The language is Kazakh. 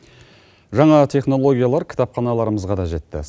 жаңа технологиялар кітапханаларымызға да жетті